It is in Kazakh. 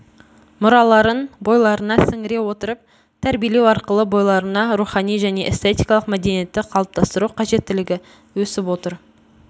мұраларын бойларына сіңіре отырып тәрбиелеу арқылы бойларына рухани және эстетикалық мәдениетті қалыптастыру қажеттілігі өсіп отыр